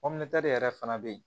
yɛrɛ fana bɛ yen